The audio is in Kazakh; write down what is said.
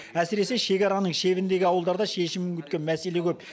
әсіресе шекараның шебіндегі ауылдарда шешімін күткен мәселе көп